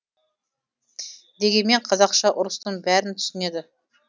дегенмен қазақша ұрыстың бәрін түсінеді